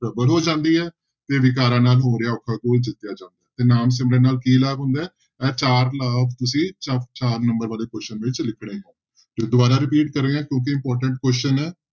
ਪ੍ਰਬਲ ਹੋ ਜਾਂਦੀ ਹੈ ਤੇ ਵਿਕਾਰਾਂ ਨਾਲ ਹੋ ਰਿਹਾ ਔਖਾ ਘੋਲ ਜਿੱਤਿਆ ਜਾਂਦਾ ਤੇ ਨਾਮ ਸਿਮਰਨ ਨਾਲ ਕੀ ਲਾਭ ਹੁੰਦਾ ਹੈ ਇਹ ਚਾਰ ਲਾਭ ਤੁਸੀਂ ਚਾ ਚਾਰ number ਵਾਲੇ question ਵਿੱਚ ਲਿਖਣੇ, ਤੇ ਦੁਬਾਰਾ repeat ਕਰ ਰਿਹਾਂ ਕਿਉਂਕਿ important question ਹੈ।